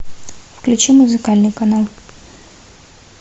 включи музыкальный канал